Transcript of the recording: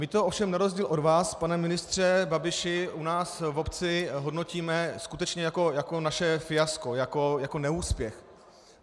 My to ovšem na rozdíl od vás, pane ministře Babiši, u nás v obci hodnotíme skutečně jako naše fiasko, jako neúspěch.